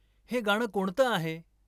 हे गाणं कोणतं आहे